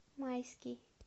майский